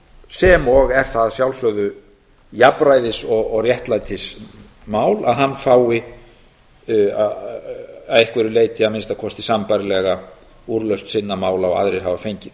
sem og er það að sjálfsögðu jafnræðis og réttlætismál að hann fái að einhverju leyti að minnsta kosti sambærilega úrlausn sinna mála og aðrir hafa fengið